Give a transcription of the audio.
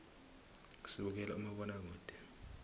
sibukela umabonakude